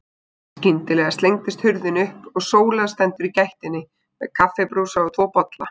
Skyndilega slengist hurðin upp og Sóla stendur í gættinni með kaffibrúsa og tvo bolla.